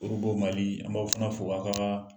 Orobo Mali an b'aw fana fo a' ka